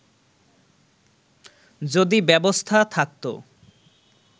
যদি ব্যবস্থা থাকতো